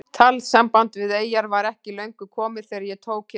Talsamband við eyjar var ekki löngu komið þegar ég tók hér við.